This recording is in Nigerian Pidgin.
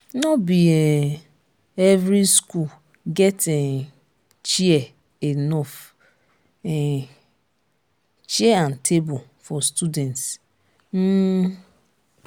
no be um every school get enough um chair enough um chair and table for students um